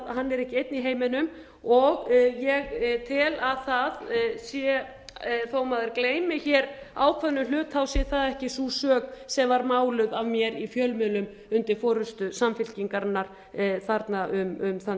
er ekki einn í heiminum og ég tel að það sé þó maður gleymi hér ákveðnum hlut sé það ekki sú sök sem var máluð af mér í fjölmiðlum undir forustu samfylkingarinnar þarna um þann